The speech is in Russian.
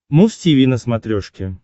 муз тиви на смотрешке